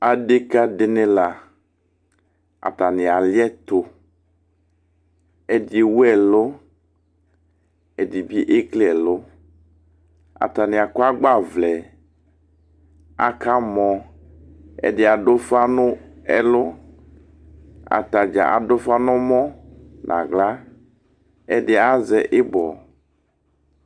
adeka di ni la atani ali ɛto ɛdi ewu ɛlo ɛdi bi ekele ɛlo atani akɔ agbavlɛ aka mɔ ɛdi ado ufa no ɛlo atadza ado ufa no ɔmɔ no ala ɛdi azɛ ibɔ